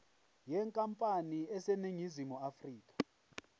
yenkampani eseningizimu afrika